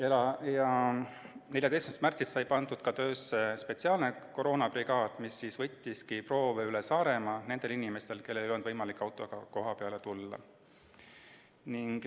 14. märtsil sai pandud töösse ka spetsiaalne koroonabrigaad, kes võttis proove üle Saaremaa nendelt inimestelt, kellel ei olnud võimalik autoga kohale tulla.